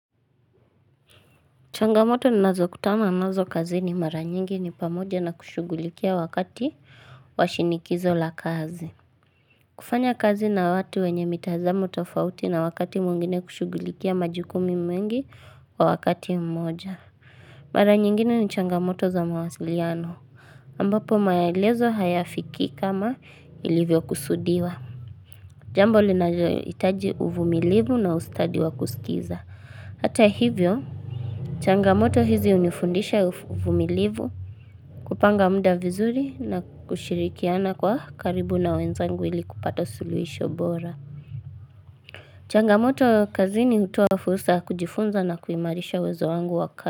Changamoto ninazokutana nazo kazini mara nyingi ni pamoja na kushugulikia wakati wa shinikizo la kazi. Kufanya kazi na watu wenye mitazamu tofauti na wakati mwingine kushugulikia majukumu mingi kwa wakati mmoja. Mara nyingine ni changamoto za mawasiliano ambapo maelezo hayafiki kama ilivyo kusudiwa. Jambo linajohitaji uvumilivu na ustadi wa kusikiza. Hata hivyo, changamoto hizi hunifundisha uvumilivu kupanga mda vizuri na kushirikiana kwa karibu na wenzangu ili kupata suluhisho bora. Changamoto kazini hutuoa fusra kujifunza na kuimarisha uwezo wangu waka.